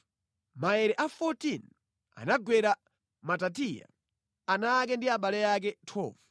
Maere a 14 anagwera Matitiya, ana ake ndi abale ake. 12